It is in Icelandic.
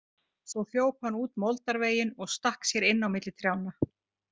Svo hljóp hann út moldarveginn og stakk sér inn á milli trjánna.